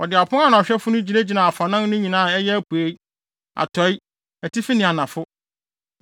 Wɔde apon ano ahwɛfo no gyinagyinaa afanan no nyinaa a ɛyɛ apuei, atɔe, atifi ne anafo.